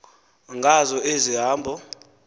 ngazo ezi hambo